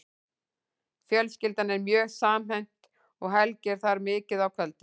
Fjölskyldan er mjög samhent og Helgi er þar mikið á kvöldin.